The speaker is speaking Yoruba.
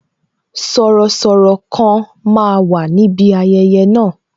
Sọ̀rọ̀sọ̀rọ̀ kan máa wà níbi ayẹyẹ na